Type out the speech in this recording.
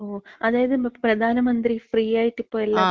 ഓ. അതായത് പ്രധാനമന്ത്രി ഫ്രീആയിട്ട് ഇപ്പം എല്ലാർക്കും,